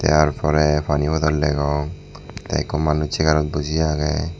tar pore pani bottle degong the ekku manuj chair ot boji age.